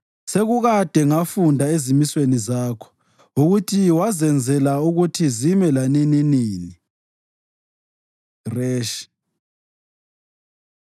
Sekukade ngafunda ezimisweni zakho ukuthi wazenzela ukuthi zime lanininini. ר Resh